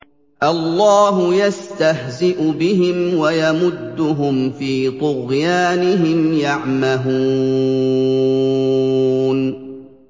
اللَّهُ يَسْتَهْزِئُ بِهِمْ وَيَمُدُّهُمْ فِي طُغْيَانِهِمْ يَعْمَهُونَ